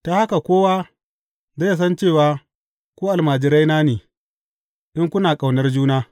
Ta haka kowa zai san cewa ku almajiraina ne, in kuna ƙaunar juna.